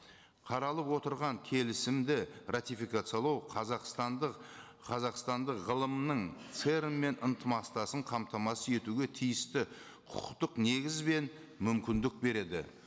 қаралып отырған келісімді ратификациялау қазақстандық қазақстандық ғылымның церн мен қамтамасыз етуге тиісті құқықтық негіз бен мүмкіндік береді